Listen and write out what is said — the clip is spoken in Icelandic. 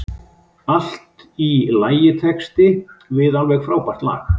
Allt í lagitexti við alveg frábært lag.